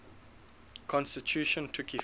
constitution took effect